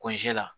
la